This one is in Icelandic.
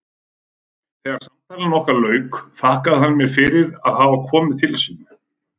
Þegar samtali okkar lauk þakkaði hann mér fyrir að hafa komið til sín.